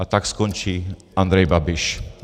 A tak skončí Andrej Babiš.